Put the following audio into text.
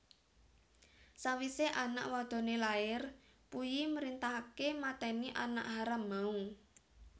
Sawise anak wadone lair Puyi mrintahake mateni anak haram mau